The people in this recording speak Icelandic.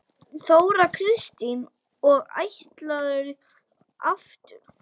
Þóra Kristín: Og ætlarðu aftur?